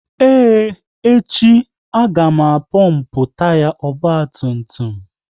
Ee, echi, a ga pompu taya ọgba tum tum